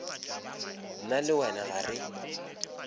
nna le wena ga re